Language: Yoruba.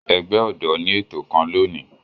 Ẹgbẹ ọdọ ni eto kan loni.